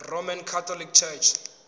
roman catholic church